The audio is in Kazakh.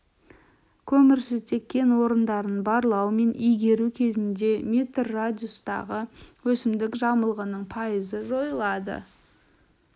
көмірсутек кен орындарын барлау мен игеру кезінде метр радиустағы өсімдік жамылғының пайызы жойылады